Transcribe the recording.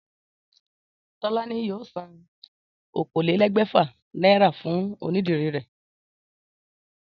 Tólání yóò san okòólégbèfà náírà fún onídìrí rè